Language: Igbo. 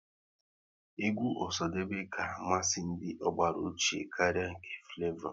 Egwu Osadebe ka amasị ndị ọgbara ochie karịa nke Flevo